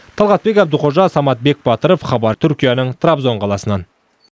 талғатбек әбдіқожа самат бекбатыров хабар түркияның трабзон қаласынан